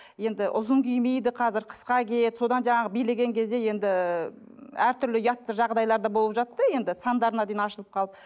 енді ұзын кимейді қазір қысқа киеді содан жаңағы билеген кезде енді әртүрлі ұятты жағдайлар да болып жатты енді сандарына дейін ашылып қалып